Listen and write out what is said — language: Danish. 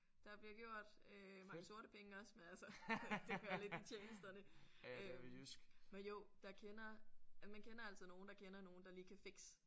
Der bliver gjort øh mange sorte penge også men altså det hører lidt med tjenesterne. Men jo der kender man kender altid nogen der kender nogen der lige kan fikse